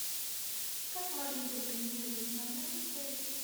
как можно забронировать номер в отеле